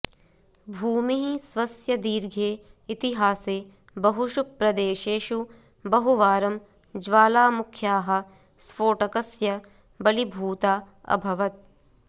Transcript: भूमिः स्वस्य दीर्घे इतिहासे बहुषु प्रदेशेषु बहु वारं ज्वालामुख्याः स्फोटकस्य बलिभूता अभवत्